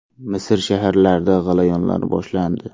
Misr shaharlarida g‘alayonlar boshlandi.